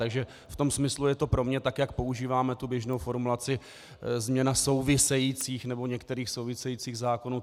Takže v tom smyslu je to pro mě tak, je používáme tu běžnou formulaci, změna souvisejících nebo některých souvisejících zákonů.